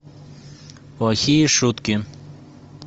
плохие шутки